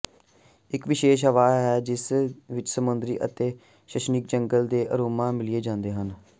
ਇਕ ਵਿਸ਼ੇਸ਼ ਹਵਾ ਹੈ ਜਿਸ ਵਿਚ ਸਮੁੰਦਰੀ ਅਤੇ ਸ਼ਨੀਕ ਜੰਗਲ ਦੇ ਅਰੋਮਾ ਮਿਲਾਏ ਜਾਂਦੇ ਹਨ